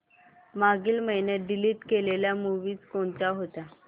मागील महिन्यात डिलीट केलेल्या मूवीझ कोणत्या होत्या